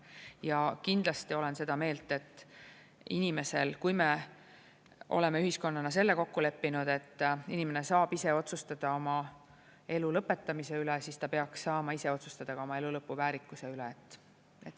Ja kindlasti olen ma seda meelt, et inimesel, kui me oleme ühiskonnana selle kokku leppinud, et inimene saab ise otsustada oma elu lõpetamise üle, siis ta peaks saama ise otsustada oma elu lõpu, väärikuse üle.